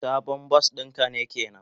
Sabon bar din ka kenan?